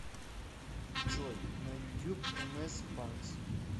джой на ютюб эмэс банкс